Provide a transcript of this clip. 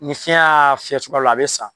Ni fiɲɛ y'a fiyɛ cogoya dɔ la ,a be sa.